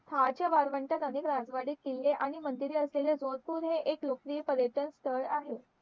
वाळवंट किल्ले आणि मंदिरे असलेले जोतपूर हे एक लोकप्रिय पर्यटन स्थळ आहे